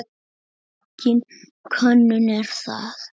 Engin könnun er það.